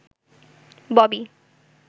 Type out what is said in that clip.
Bobby